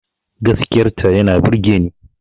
Gaskiyar ta yana burgeni